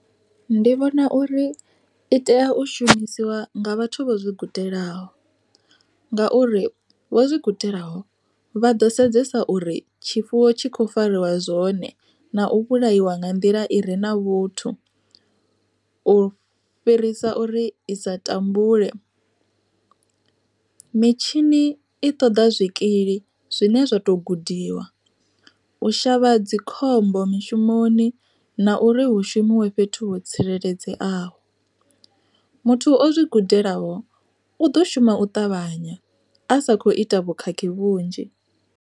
Ndi vhona uri i tea u shumisiwa nga vhathu vho zwi gudelaho, nga uri vho zwi gudelaho vha ḓo sedzesa uri tshifuwo tshi kho fariwa zwone na u vhulaiwa nga nḓila i re na vhuthu. U fhirisa uri i sa tambule, mitshini i ṱoḓa zwikili zwine zwa to gudiwa u shavha dzi khombo mishumoni na uri hu shumiwe fhethu ho tsireledzeaho. Muthu o zwi gudelaho u ḓo shuma u ṱavhanya a sa kho ita vhukhakhi vhunzhi.